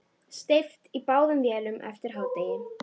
Steypt í báðum vélum eftir hádegi.